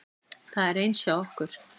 Það er eins hjá okkur.